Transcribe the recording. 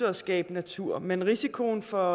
at skabe natur men risikoen for